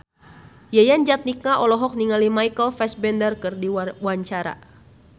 Yayan Jatnika olohok ningali Michael Fassbender keur diwawancara